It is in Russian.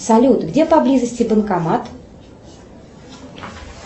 салют где поблизости банкомат